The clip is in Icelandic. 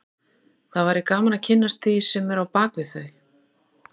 Það væri gaman að kynnast því sem er á bak við þau